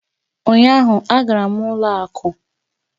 Ụnyaahụ, agara m ụlọ akụ